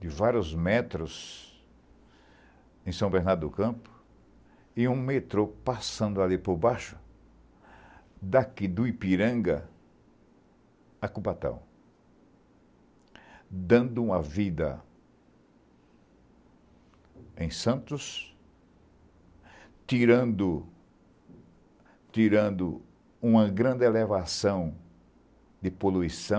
de vários metros em São Bernardo do Campo, e um metrô passando ali por baixo, daqui do Ipiranga a Cubatão, dando uma vida em Santos, tirando tirando, uma grande elevação de poluição,